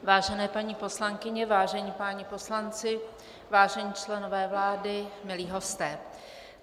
Vážení paní poslankyně, vážení páni poslanci, vážení členové vlády, milí hosté.